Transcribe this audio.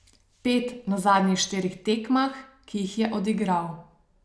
Pet na zadnjih štirih tekmah, ki jih je odigral.